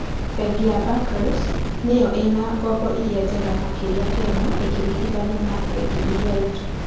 Bengi ya Barclays nĩyo ĩna ngombo iria njega makĩria Kenya ĩkĩringithanio na bengi iria ingĩ